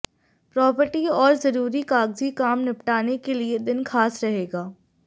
property और जरूरी कागजी काम निपटाने के लिए दिन खास रहेगा